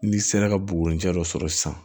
N'i sera ka buguruni fiyɛ dɔ sɔrɔ sisan